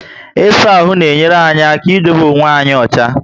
Isaa ahụ na enyere anyị aka idobe okwe anyị ocha